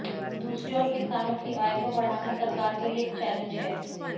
दूसरी ओर किसानों की आय को बढ़ाना सरकार के लिए एक चैलेंज है